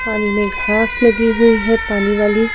पानी में घास लगी हुई है पानी वाली।